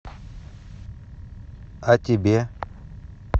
а тебе